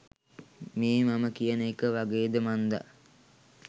මේ මම කියන එක වගේද මන්දා.